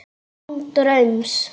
Án draums.